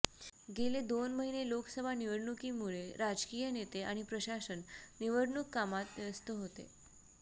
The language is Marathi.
गेले दोन महिने लोकसभा निवडणुकीमुळे राजकीय नेते आणि प्रशासन निवडणूक कामात व्यस्त होते